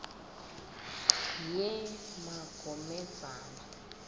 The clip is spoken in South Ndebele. yemagomedzana